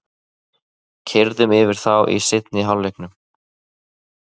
Keyrðum yfir þá í seinni hálfleiknum